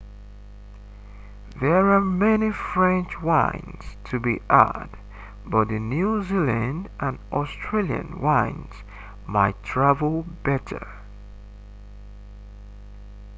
there are many french wines to be had but the new zealand and australian wines might travel better